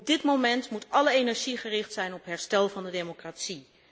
Op dit moment moet alle energie gericht zijn op herstel van de democratie.